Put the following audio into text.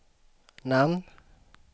namn